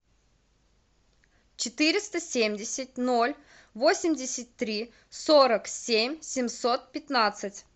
четыреста семьдесят ноль восемьдесят три сорок семь семьсот пятнадцать